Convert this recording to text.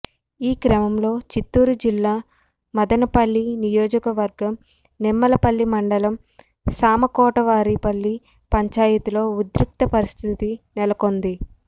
ఈ క్రమంలో చిత్తూరు జిల్లా మదనపల్లి నియోజకవర్గం నిమ్మలపల్లి మండలం సామకోటవారి పల్లి పంచాయతీ లో ఉద్రిక్త పరిస్థితి నెలకొంది